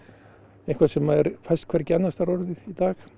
eitthvað sem fæst hvergi annarstaðar orðið í dag